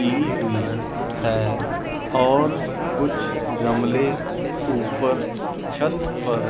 की हुई है और कुछ गमले ऊपर छत पर--